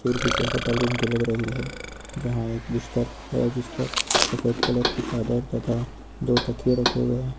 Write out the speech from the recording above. किसी hotel room की लग रही है जहां एक बिस्तर है जिस पर सफेद कलर की चादर तथा दो तकियें रखे हुए हैं।